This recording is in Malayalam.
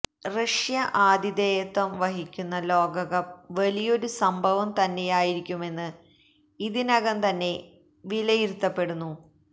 റഷ്യ ആതിഥേയത്വം വഹിക്കുന്ന ലോകകപ്പ് വലിയൊരു സംഭവം തന്നെയായിരിക്കുമെന്ന് ഇതിനകം തന്നെ വിലയിരുത്തപ്പെടുന്നു